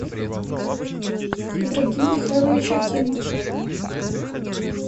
ибрагим михайлович акимов